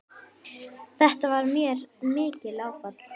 Þetta varð mér mikið áfall.